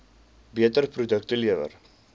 beter produkte lewer